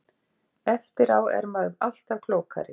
Eftir á er maður alltaf klókari.